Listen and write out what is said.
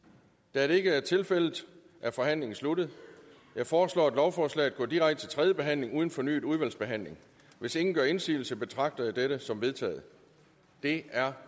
da det ikke er tilfældet er forhandlingen sluttet jeg foreslår at lovforslaget går direkte til tredje behandling uden fornyet udvalgsbehandling hvis ingen gør indsigelse betragter jeg dette som vedtaget det er